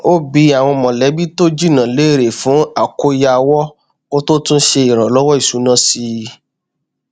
ó bi àwọn mọlẹbí tó jìnnà léèrè fún àkóyawọ kó tó tún ṣe ìràlọwọ ìṣúná sí i